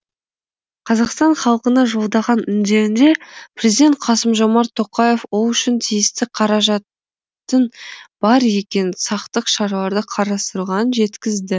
қазақстан халқына жолдаған үндеуінде президент қасым жомарт тоқаев ол үшін тиісті қаражаттың бар екенін сақтық шаралары қарастырылған жеткізді